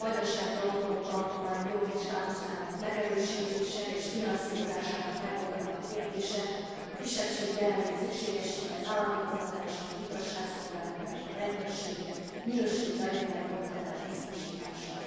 a Vajdasági Autonóm Tartomány jogi státuszának megerősítése és finanszírozásának megoldatlan kérdése, a kisebbségi jelenlét szükségessége az államigazgatásban, az igazságszolgáltatásban, a rendőrségnél, valamint a minőségi anyanyelvi oktatás biztosítása.